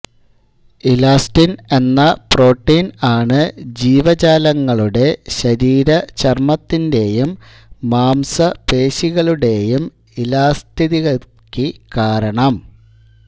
elastin എന്ന protein ആണ് ജീവജാലങ്ങളുടെ ശരീരചർമത്തിന്റേയും മാംസപേശികളുടേയും ഇലാസ്തികതക്ക് കാരണം